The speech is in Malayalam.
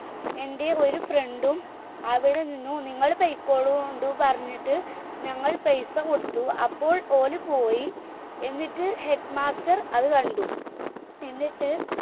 എന്റെ ഒരു friend ഉം അവിടെ നിന്നു നിങ്ങള് പോയിക്കോളുണ്ടു് ഞങ്ങൾ പെയ്‌സ കൊടുത്തു അപ്പോൾ ഓള് പോയി എന്നിട്ട് headmaster അത് കണ്ടു എന്നിട്ട്